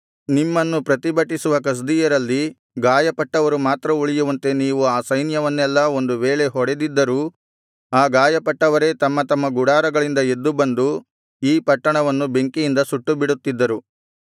ನಿಮ್ಮನ್ನು ಪ್ರತಿಭಟಿಸುವ ಕಸ್ದೀಯರಲ್ಲಿ ಗಾಯಪಟ್ಟವರು ಮಾತ್ರ ಉಳಿಯುವಂತೆ ನೀವು ಆ ಸೈನ್ಯವನ್ನೆಲ್ಲಾ ಒಂದು ವೇಳೆ ಹೊಡೆದಿದ್ದರೂ ಆ ಗಾಯಪಟ್ಟವರೇ ತಮ್ಮ ತಮ್ಮ ಗುಡಾರಗಳಿಂದ ಎದ್ದು ಬಂದು ಈ ಪಟ್ಟಣವನ್ನು ಬೆಂಕಿಯಿಂದ ಸುಟ್ಟು ಬಿಡುತ್ತಿದ್ದರು